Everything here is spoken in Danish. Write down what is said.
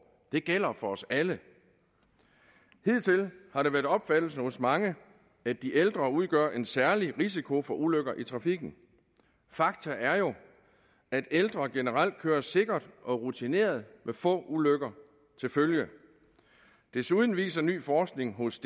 det gælder for os alle hidtil har det været opfattelsen hos mange at de ældre udgør en særlig risiko for ulykker i trafikken fakta er jo at ældre generelt kører sikkert og rutineret med få ulykker til følge desuden viser ny forskning hos